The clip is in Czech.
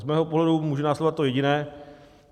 Z mého pohledu může následovat to jediné.